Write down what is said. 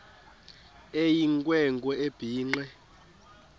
eyinkwe nkwe ebhinqe